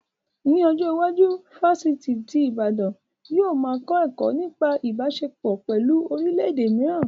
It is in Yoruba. Ní ọjọ́ iwájú, ifásitì ti Ìbàdàn yóò ma kọ́ ẹ̀kọ́ nípa Ìbáṣepọ̀ pẹ̀lú orílẹ̀ èdè mìíràn